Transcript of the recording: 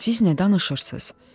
Siz nə danışırsız?